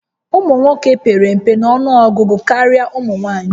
Ụmụ nwoke pere mpe nọnụọgụgụ karịa ụmụ nwanyị